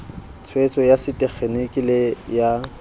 tshetso ya setekgeniki le ya